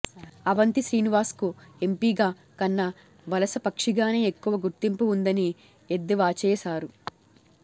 అవంతి శ్రీనివాస్కు ఎంపీగా కన్నా వలసపక్షిగానే ఎక్కువ గుర్తింపు ఉందని ఎద్దేవాచేశారు